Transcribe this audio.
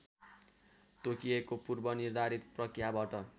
तोकिएको पूर्वनिर्धारित प्रक्रियाबाट